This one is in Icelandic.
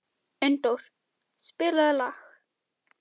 Unndór, spilaðu lag.